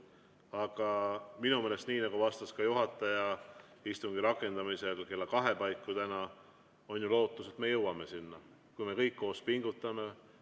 Aga minu meelest, nii nagu vastas ka juhataja istungi rakendamisel kella kahe paiku täna, on ju lootus, et me jõuame sinna, kui me kõik koos pingutame.